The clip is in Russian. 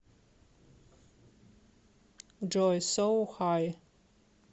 джой соу хай